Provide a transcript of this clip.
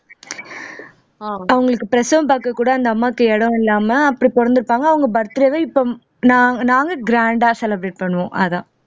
அவங்களுக்கு பிரசவம் பாக்க கூட அந்த அம்மாவுக்கு இடம் இல்லாம அப்படி பொறந்திருப்பாங்க அவங்க birthday வை இப்ப நான் நாங்க grand ஆ celebrate பண்ணுவோம் அதான்